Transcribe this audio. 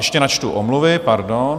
Ještě načtu omluvy, pardon.